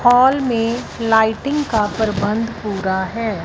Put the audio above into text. Hall में lighting का प्रबंध पूरा है।